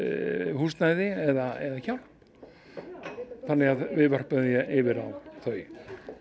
húsnæði eða hjálp þannig að við vörpum því yfir á þau